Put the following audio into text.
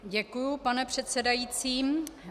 Děkuji, pane předsedající.